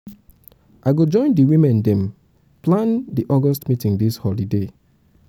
i go join di women dem plan di august meeting dis holiday.